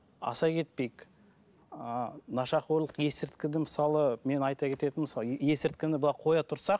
аса кетпейік ыыы нашақорлық есірткіні мысалы мен айта кететінім мысалы есірткіні былай қоя тұрсақ